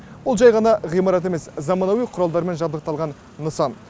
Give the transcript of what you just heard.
бұл жай ғана ғимарат емес заманауи құралдармен жабдықталған нысан